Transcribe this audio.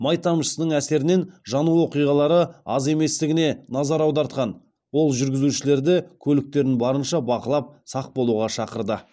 май тамшысының әсерінен жану оқиғалары аз еместігіне назар аудартқан ол жүргізушілерді көліктерін барынша бақылап сақ болуға шақырды